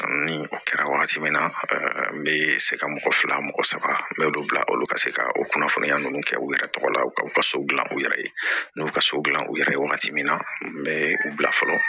Ni o kɛra wagati min na n bɛ se ka mɔgɔ fila mɔgɔ saba me dɔ bila olu ka se ka o kunnafoniya ninnu kɛ u yɛrɛ tɔgɔ la ka u ka so dilan u yɛrɛ ye n y'u ka so dilan u yɛrɛ ye wagati min na n bɛ u bila fɔlɔ